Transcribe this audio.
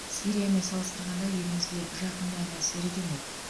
сириямен салыстырғанда елімізге жақын әрі әсері де мол